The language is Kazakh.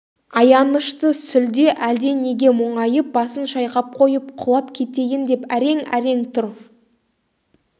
аянышты сүлде әлденеге мұңайып басын шайқап қойып құлап кетейін деп әрең-әрең тұр